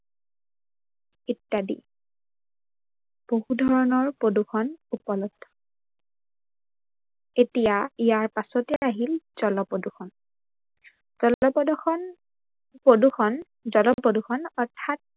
ইত্যাদি বহু ধৰনৰ প্ৰদূৰ্ষন উপলব্ধ। এতিয়া ইয়াৰ পাছতে আহিল জলপ্ৰদূৰ্ষন, জলপ্ৰদূৰ্ষন, জলপ্ৰদূৰ্ষন অৰ্থাৎ